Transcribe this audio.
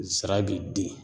Zira b'i den